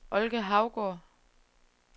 Olga Hougaard